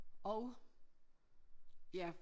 Og ja